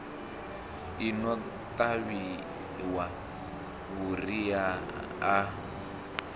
i no ṱavhiwa vhuriha i